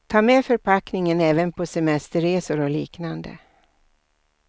Ta med förpackningen även på semesterresor och liknande.